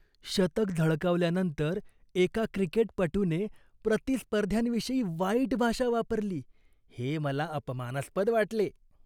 शतक झळकावल्यानंतर एका क्रिकेटपटूने प्रतिस्पर्ध्यांविषयी वाईट भाषा वापरली हे मला अपमानास्पद वाटले.